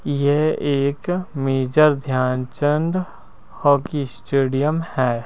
यह एक major Dhyanchand hockey stadium है।